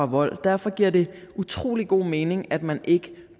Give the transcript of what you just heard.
vold derfor giver det utrolig god mening at man ikke